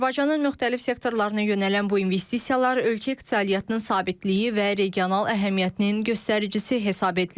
Azərbaycanın müxtəlif sektorlarına yönələn bu investisiyalar ölkə iqtisadiyyatının sabitliyi və regional əhəmiyyətinin göstəricisi hesab edilir.